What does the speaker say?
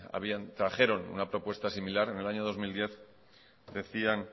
trajeron una propuesta similar en el año dos mil diez decían